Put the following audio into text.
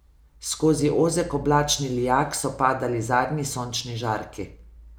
Skozi ozek oblačni lijak so padali zadnji sončni žarki.